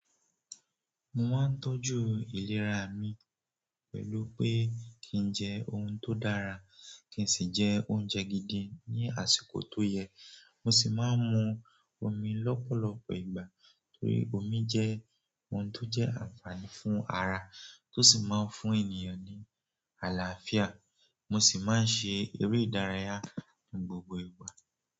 Mo máa ń tọ́jú ìlera mi pẹ̀lú pé kí n jẹ oún tó dára, kí n sì jẹ oúnjẹ gidi ní àsìkò tó yẹ. Mo sì máa ń mu omi lọ́pọ̀lọpọ̀ ìgbà torí omi jẹ́ ohun tó jẹ́ ànfààní fún ara, tó sì máa ń fún ènìyàn ní àlàáfíà. Mo sì máa ń ṣe eré ìdárayá ní gbogbo ìgbà.